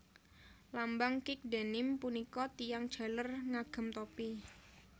Lambang Kick Denim punika tiyang jaler ngagem topi